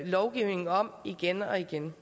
lovgivningen om igen og igen